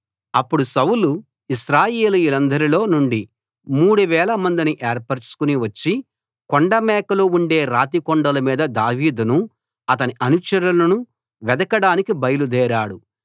అప్పుడు సౌలు ఇశ్రాయేలీయులందరిలో నుండి మూడు వేల మందిని ఏర్పరచుకుని వచ్చి కొండమేకలు ఉండే రాతి కొండల మీద దావీదును అతని అనుచరులను వెదకడానికి బయలుదేరాడు